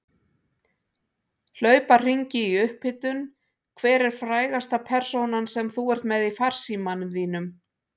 Hlaupa hringi í upphitun Hver er frægasta persónan sem þú ert með í farsímanum þínum?